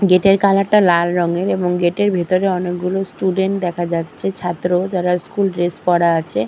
Gate -এর colour -টা লাল রঙের এবং গেট -এর ভেতরে অনেকগুলো স্টুডেন্ট দেখা যাচ্ছে ছাত্র যারা স্কুল ড্রেস পড়া আছে।